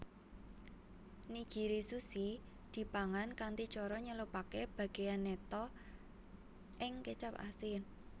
Nigirizushi dipangan kanthi cara nyelupake bageyan neta ing kecap asin